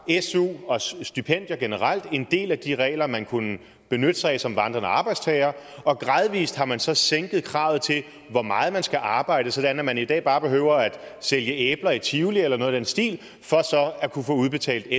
su og stipendier generelt en del af de regler som man kunne benytte sig af som vandrende arbejdstager og gradvist har man så sænket kravet til hvor meget man skal arbejde sådan at man i dag bare behøver at sælge æbler i tivoli eller noget i den stil for at kunne få udbetalt